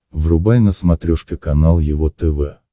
врубай на смотрешке канал его тв